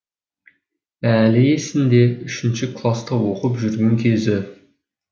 әлі есінде үшінші класта оқып жүрген кезі